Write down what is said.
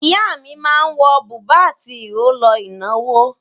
Ìyá mi máa ń wọ bùbá àti ìró lọ ìnáwó.